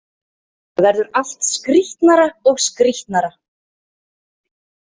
Þetta verður allt skrítnara og skrítnara.